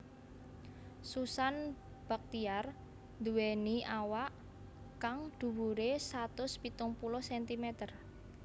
Susan Bachtiar nduwèni awak kang dhuwuré satus pitung puluh centimeter